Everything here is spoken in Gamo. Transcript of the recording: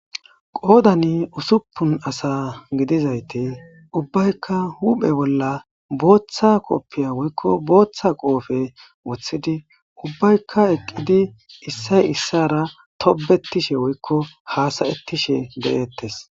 Qoodan uussuppuna aasa giddizayti uubbayka huuphen booththa kooppiye woyko booththa qoobe wooththidi uubbayka eeqidi iissoy iisara toobettishe wooyko haasayetishe deetess